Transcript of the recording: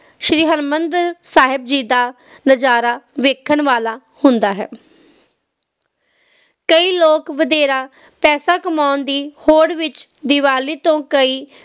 ਸ਼੍ਰੀ ਹਰਮਿੰਦਰ ਸਾਹਿਬ ਜੀ ਦਾ ਨਜ਼ਾਰਾ ਵੇਖਣ ਵਾਲਾ ਹੁੰਦਾ ਹੈ ਕਈ ਲੋਕ ਵਧੇਰੇ ਪੈਸੇ ਕਮਾਉਣ ਦੀ ਹੋਂਦ ਵਿਚ ਦੀਵਾਲੀ ਤੋਂ ਕਈ